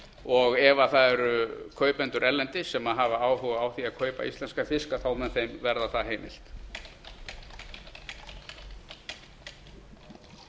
og ef það eru kaupendur erlendis sem hafa áhuga á að kaupa íslenskan fisk mun þeim verða það